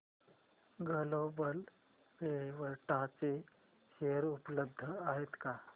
global Vectra चे share उपलब्ध आहेत का